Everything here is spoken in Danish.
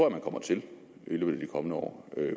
at man kommer til i løbet af de kommende år